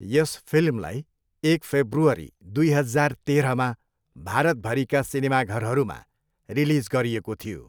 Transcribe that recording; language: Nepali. यस फिल्मलाई एक फेब्रुअरी, दुई हजार तेह्रमा भारतभरिका सिनेमाघरहरूमा रिलिज गरिएको थियो।